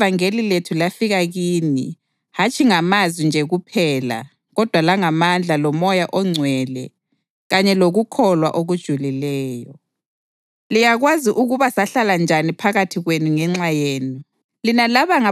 ngoba ivangeli lethu lafika kini hatshi ngamazwi nje kuphela kodwa langamandla loMoya oNgcwele kanye lokukholwa okujulileyo. Liyakwazi ukuba sahlala njani phakathi kwenu ngenxa yenu.